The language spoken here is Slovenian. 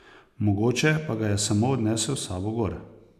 Mogoče pa ga je samo odnesel s sabo gor.